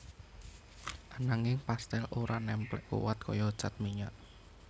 Ananging pastèl ora némplék kuwat kaya cat minyak